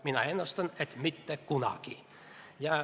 Mina ennustan, et mitte kunagi.